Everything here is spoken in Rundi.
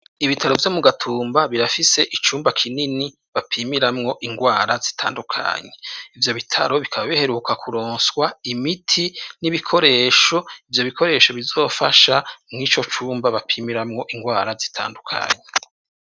Ibitaro vyo mu gatumba birafise icumba kinini bapimiramwo ingwara zitandukanyi ivyo bitaro bikaba biheruka kuronswa imiti n'ibikoresho ivyo bikoresho bizofasha mw'ico cumba bapimiramwo ingwara zitandukanyi.